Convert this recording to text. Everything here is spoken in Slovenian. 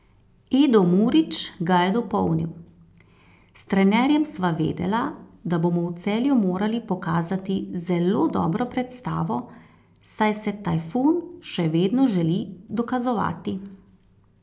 Edo Murić ga je dopolnil: 'S trenerjem sva vedela, da bomo v Celju morali pokazati zelo dobro predstavo, saj se Tajfun še vedno želi dokazovati.